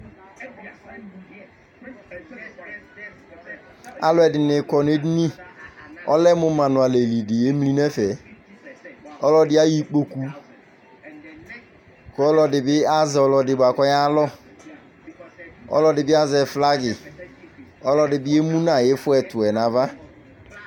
Alu ɛdini kɔ nu edini Ɔlɛ mu manualɛli di yemli nu ɛfɛ Ɔlɔdi ayɔ ikpoku ku ɔlɔdi bi azɛ ɔlɔdi bua ku ɔyalɔ Ɔlɔdi bi azɛ flagi Ɔlɔdi bi emu nu ayu ifɔ ɛtu yɛ nu ava